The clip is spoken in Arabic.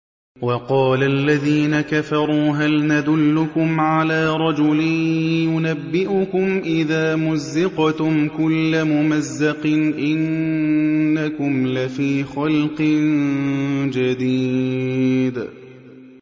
وَقَالَ الَّذِينَ كَفَرُوا هَلْ نَدُلُّكُمْ عَلَىٰ رَجُلٍ يُنَبِّئُكُمْ إِذَا مُزِّقْتُمْ كُلَّ مُمَزَّقٍ إِنَّكُمْ لَفِي خَلْقٍ جَدِيدٍ